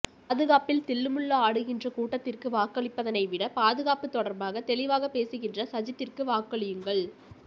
பாதுகாப்பில் தில்லு முள்ளு ஆடுகின்ற கூட்டத்திற்கு வாக்களிப்பதனை விட பாதுகாப்பு தொடர்பாக தெளிவாக பேசுகின்ற சஜித்திற்கு வாக்களியுங்கள்